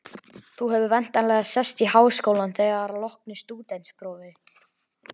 Þú hefur væntanlega sest í Háskólann þegar að loknu stúdentsprófi?